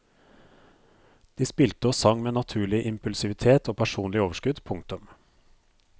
De spilte og sang med naturlig impulsivitet og personlig overskudd. punktum